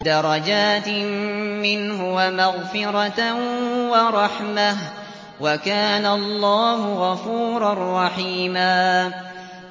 دَرَجَاتٍ مِّنْهُ وَمَغْفِرَةً وَرَحْمَةً ۚ وَكَانَ اللَّهُ غَفُورًا رَّحِيمًا